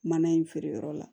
Mana in feereyɔrɔ la